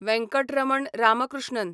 Venkataraman Ramakrishnan